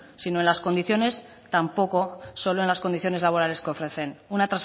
sino en las condiciones tampoco solo en las condiciones laborales que ofrecen una